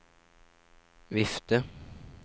vifte